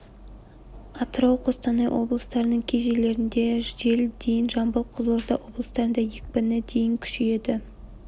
атырау қостанай облыстарының кей жерлерінде жел дейін жамбыл қызылорда облыстарында екпіні дейін күшейеді